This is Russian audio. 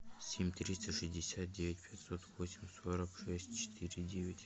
семь триста шестьдесят девять пятьсот восемь сорок шесть четыре девять